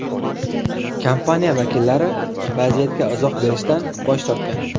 Kompaniya vakillari vaziyatga izoh berishdan bosh tortgan.